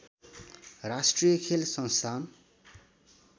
राष्‍ट्रिय खेल संस्‍थान